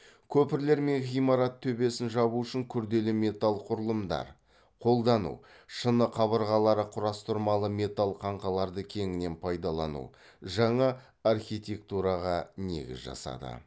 көпірлер мен ғимарат төбесін жабу үшін күрделі металл құрылымдар қолдану шыны қабырғалы құрастырмалы металл қаңқаларды кеңінен пайдалану жаңа архитектураға негіз жасады